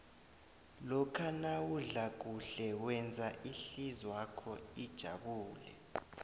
lokha nawudla kuhle wenza ihlizwakho ijabule